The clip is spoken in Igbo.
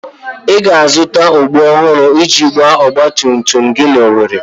Ị ga-azụta okpú ọhụrụ iji gbaa ọgba tum tum gị n'Owerri.